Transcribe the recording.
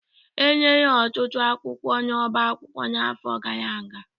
Enyere ọtụtụ akwụkwọ n'ọbá akwụkwọ n'afọ gara aga